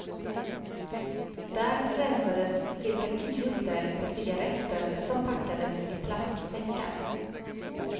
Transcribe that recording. Där rensades cirka tio ställ på cigaretter som packades i plastsäckar.